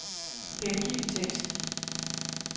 Gengiv tekst.